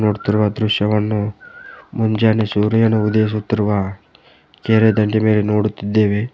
ನೋಡುತ್ತಿರುವ ದೃಶ್ಯವನ್ನು ಮುಂಜಾನೆ ಸೂರ್ಯನು ಉದಯಿಸುತ್ತಿರುವ ಕೆರೆ ದಂಡೆಯ ಮೇಲೆ ನೋಡುತ್ತಿದ್ದೇವೆ.